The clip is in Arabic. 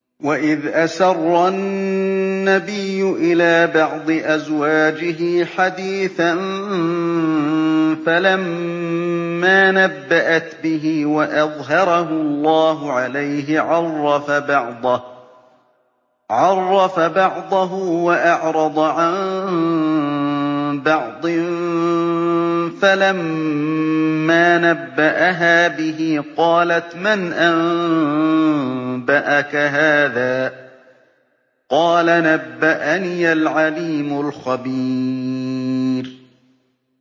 وَإِذْ أَسَرَّ النَّبِيُّ إِلَىٰ بَعْضِ أَزْوَاجِهِ حَدِيثًا فَلَمَّا نَبَّأَتْ بِهِ وَأَظْهَرَهُ اللَّهُ عَلَيْهِ عَرَّفَ بَعْضَهُ وَأَعْرَضَ عَن بَعْضٍ ۖ فَلَمَّا نَبَّأَهَا بِهِ قَالَتْ مَنْ أَنبَأَكَ هَٰذَا ۖ قَالَ نَبَّأَنِيَ الْعَلِيمُ الْخَبِيرُ